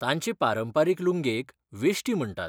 तांचे पारंपारीक लुंगेक वेश्टी म्हणटात.